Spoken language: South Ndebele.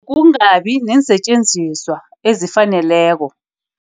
Kungabi neensetjenziswa ezifaneleko.